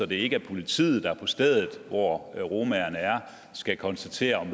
det ikke er politiet der på stedet hvor romaerne er skal konstatere om